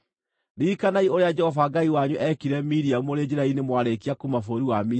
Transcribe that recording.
Ririkanai ũrĩa Jehova Ngai wanyu eekire Miriamu mũrĩ njĩra-inĩ mwarĩkia kuuma bũrũri wa Misiri.